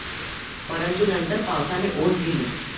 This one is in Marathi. परंतु नंतर पावसाने ओढ दिली.